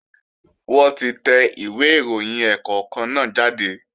Wọ́n ti tẹ ìwé ìròyìn ẹ̀ẹ̀kọ̀kan náà jáde